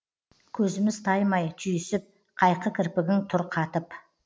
көзіміз таймай түйісіп қайқы кірпігің тұр қатып